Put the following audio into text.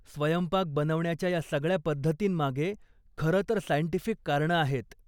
स्वयंपाक बनवण्याच्या या सगळ्या पद्धतींमागे खरंतर सायंटिफिक कारणं आहेत.